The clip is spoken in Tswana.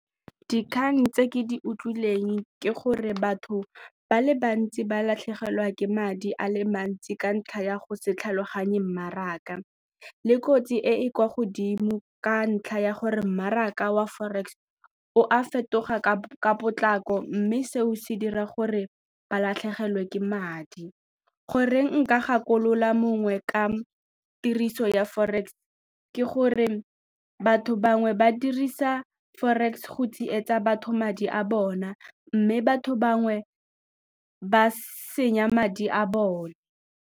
Dikgang tse ke di utlwileng ke gore batho ba le bantsi ba latlhegelwa ke madi a le mantsi ka ntlha ya go se tlhaloganye mmaraka le kotsi e e kwa godimo ka ntlha ya gore mmaraka wa forex o a fetoga ka potlako mme seo se dira gore ba latlhegelwe ke madi. Goreng nka gakolola mongwe ka tiriso ya forex ke gore batho bangwe ba dirisa forex go tsietsa batho madi a bona mme batho bangwe ba senya madi a bone.